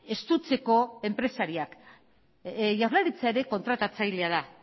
estutzeko enpresariak jaurlaritza ere kontratatzailea da